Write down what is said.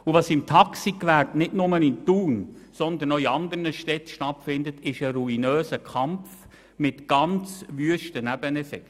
Was im Taxigewerbe nicht nur in Thun sondern auch in anderen Städten stattfindet, ist ein ruinöser Kampf mit ganz hässlichen Nebeneffekten.